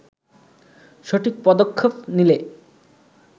সঠিক পদক্ষেপ নিলে